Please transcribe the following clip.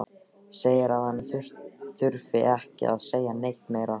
Segir að hann þurfi ekki að segja neitt meira.